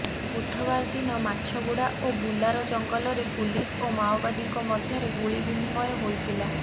ବୁଧବାର ଦିନ ମାଛଗୁଡା ଓ ବୁଲାର ଜଙ୍ଗଲରେ ପୁଲିସ ଓ ମାଓବାଦୀଙ୍କ ମଧ୍ୟରେ ଗୁଳି ବିନିମୟ ହୋଇଥିଲା